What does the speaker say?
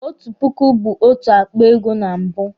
Otu puku bu otu akpa ego na mbụ